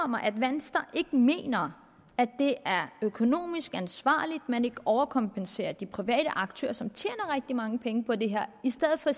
mig at venstre ikke mener at det er økonomisk ansvarligt at man ikke overkompenserer de private aktører som tjener rigtig mange penge på det her i stedet for at